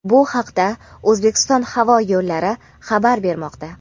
Bu haqda "O‘zbekiston havo yo‘llari" xabar bermoqda.